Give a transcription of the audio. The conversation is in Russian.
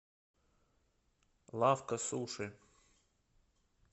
лавка суши